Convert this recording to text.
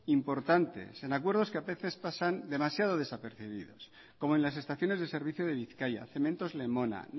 importantes en acuerdos que a veces pasan demasiado desapercibido como en las estaciones de servicio de bizkaia cementos lemona